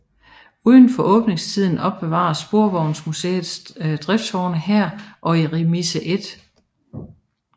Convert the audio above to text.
Udenfor åbningstiden opbevares Sporvejsmuseets driftsvogne her og i Remise 1